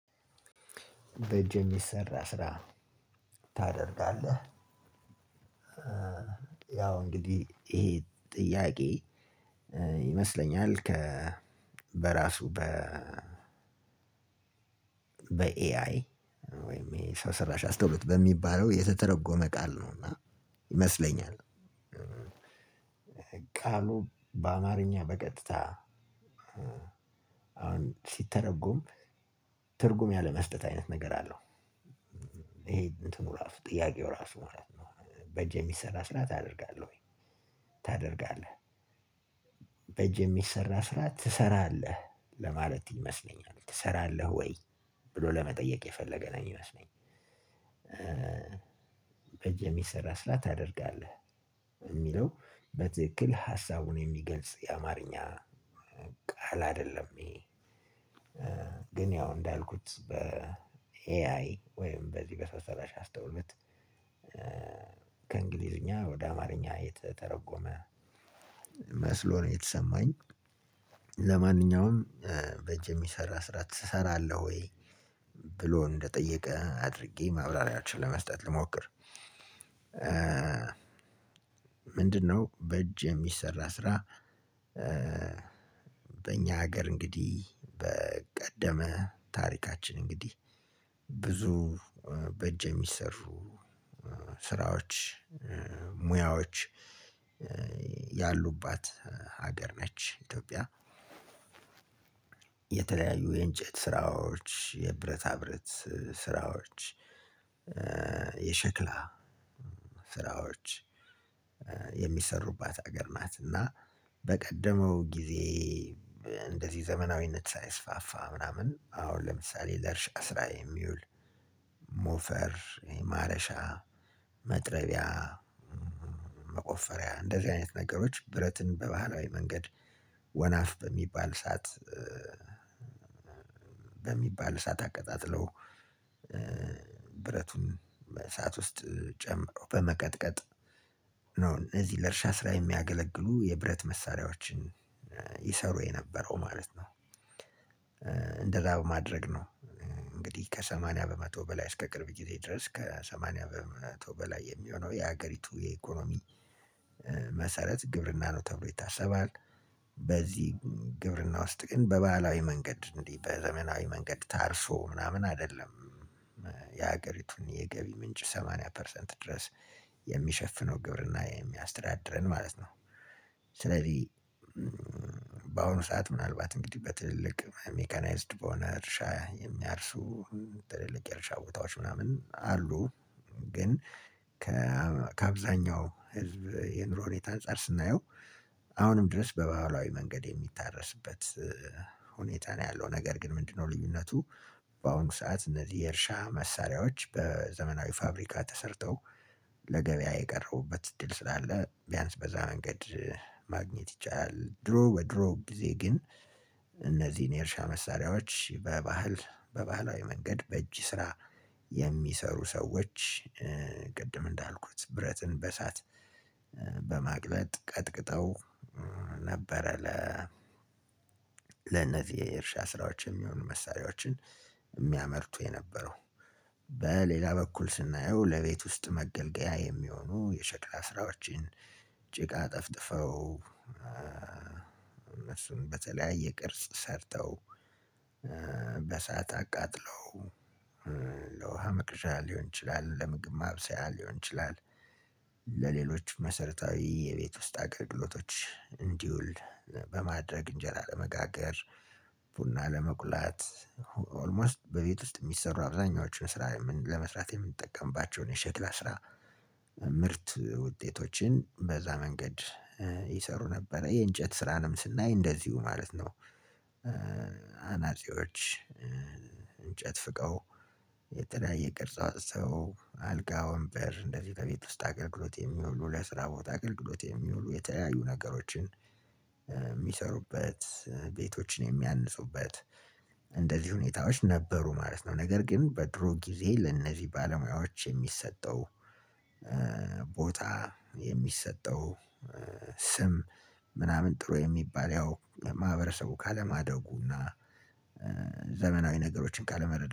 በእጅ የሚሰራ ስራ ታደርጋለህ ያው እንግዲህ ይሄ ጥያቄ ይመስለኛል ከ በራሱ በ በኤአይ ወይም የሰው ስራሽ አስተውሎት በሚባለው የተተረጎመ ቃል ነውና ይመስለኛል። ቃሉ በአማርኛ በቀጥታ አሁን ሲተረጎም ትርጉም ያለመስጠት አይነት ነገር አለው። ይሄ እንትኑ ራሱ ጥያቄው ራሱ ማለት ነው። በእጅ የሚሰራ ስራ ታደርጋለህ ወይ ታደርጋለህ? በእጅ የሚሰራ ስራ ትሰራለህ ለማለት ይመስለኛል ትሰራለህ ወይ ብሎ ለመጠየቅ የፈለገ ነው የሚመስለኝ። የሚሰራ ስር ታደርጋለህ የሚለው በትክክል ሃሳቡን የሚገልጽ የአማርኛ ቃል አይደለም ይሄ። ግን ያው እንዳልኩት በኤአይ ወይም በዚህ በሰው ሰራሽ አስተውሎት ከእንግሊዘኛ ወደ አማርኛ የተተረጎመ መስሎ ነው የተሰማኝ። ለማንኛውም በእጅ የሚሰራ ስራ ትሰራለህ ወይ ብሎ እንደጠየቀ አድርጌ ማብራሪያዎችን ለመስጠት ልሞክር። ምንድነው በእጅ የሚሰራ ስራ? በእኛ ሀገር እንግዲህ በቀደመ ታሪካችን እንግዲህ ብዙ በእጅ የሚሰሩ ስራዎች ሙያዎች ያሉባት ሀገር ነች ኢትዮጵያ። የተለያዩ የእንጨት ስራዎች የብረታ ብረት ስራዎች የሸክላ ስራዎች የሚሰሩባት ሀገር ናት። እና በቀደመው ጊዜ እንደዚህ ዘመናዊነት ሳይስፋፋ ምናምን አሁን ለምሳሌ ለእርሻ ስራ የሚውል ሞፈር ይሄ ማረሻ መጥረቢያ መቆፈሪያ እንደዚህ አይነት ነገሮች ብረትን በባህላዊ መንገድ ወናፍ በሚባል እሳት በሚባል እሳት አቀጣጥለው ብረቱን እሳት ውስጥ ጨምረው በመቀጥቀጥ ነው እነዚህ ለእርሻ ስራ የሚያገለግሉ የብረት መሳሪያዎችን ይሰሩ የነበረው ማለት ነው። እንደዛ በማድረግ ነው። እንግዲህ ከሰማንያ በመቶ በላይ እስከ ቅርብ ጊዜ ድረስ ከሰማንያ በመቶ በላይ የሚሆነው የሀገሪቱ የኢኮኖሚ መሰረት ግብርና ነው ተብሎ ይታሰባል። በዚህ ግብርና ውስጥ ግን በባህላዊ መንገድ እንዲህ በዘመናዊ መንገድ ታርሶ ምናምን አይደለም። የሀገሪቱን የገቢ ምንጭ ሰማንያ ፐርሰንት ድረስ የሚሸፍነው ግብርና የሚያስተዳድረን ማለት ነው። ስለዚህ በአሁኑ ሰዓት ምናልባት እንግዲህ በትልልቅ ሜካናይዝድ በሆነ እርሻ የሚያርሱ ትልልቅ የእርሻ ቦታዎች ምናምን አሉ። ግን ከ ከአብዛኛው ህዝብ የኑሮ ሁኔታ አንፃር ስናየው አሁንም ድረስ በባህላዊ መንገድ የሚታረስበት ሁኔታ ነው ያለው ነገር ግን ምንድነው ልዩነቱ? በአሁን ሰዓት እነዚህ የእርሻ መሳሪያዎች በዘመናዊ ፋብሪካ ተሰርተው ለገበያ የቀረቡበት እድል ስላለ ቢያንስ በዛ መንገድ ማግኘት ይቻላል። ድሮ በድሮ ጊዜ ግን እነዚህን የእርሻ መሳሪያዎች በባህል በባህላዊ መንገድ በእጅ ስራ የሚሰሩ ሰዎች ቅድም እንዳልኩት ብረትን በእሳት በማቅለጥ ቀጥቅጠው ነበረ ለ ለነዚህ የእርሻ ስራዎች የሚሆኑ መሳሪያዎችን የሚያመርቱ የነበረው። በሌላ በኩል ስናየው ለቤት ውስጥ መገልገያ የሚሆኑ የሸክላ ስራዎችን ጭቃ ጠፍጥፈው እሱን በተለያየ ቅርጽ ሰርተው በእሳት አቃጥለው ለውሃ መቅዣ ሊሆን ይችላል ለምግብ ማብሰያ ሊሆን ይችላል። ለሌሎች መሰረታዊ የቤት ውስጥ አገልግሎቶች እንዲውል በማድረግ እንጀራ ለመጋገር ቡና ለመቁላት ሁ ኦልሞስት በቤት ውስጥ የሚሰሩ አብዛኛዎቹን ስራ የምን ለመስራት የምንጠቀምባቸውን የሸክላ ስራ ምርት ውጤቶችን በዛ መንገድ ይሰሩ ነበረ የእንጨት ስራንም ስናይ እንደዚሁ ማለት ነው። አናጺዎች እንጨት ፍቀው የተለያየ ቅርጽ አውጥተው አልጋ ወንበር እንደዚህ ከቤት ውስጥ አገልግሎት የሚውሉ ለስራ ቦታ አገልግሎት የሚውሉ የተለያዩ ነገሮችን የሚሰሩበት ቤቶችን የሚያንጹበት እንደዚህ ሁኔታዎች ነበሩ ማለት ነው። ነገር ግን በድሮ ጊዜ ለእነዚህ ባለሙያዎች የሚሰጠው ቦታ የሚሰጠው ስም ምናምን ጥሩ የሚባል ያው ማህበረሰቡ ካለማደጉ እና ዘመናዊ ነገሮችን ካለመረዳ